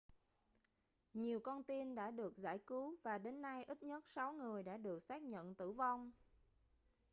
nhiều con tin đã được giải cứu và đến nay ít nhất sáu người đã được xác nhận tử vong